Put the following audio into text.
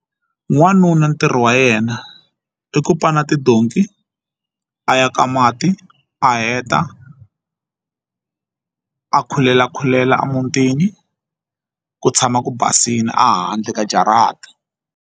N'wanuna ntirho wa yena i ku pana tidonki a ya ka mati a heta a khulela khulela emutini ku tshama ku basile a handle ka jarata.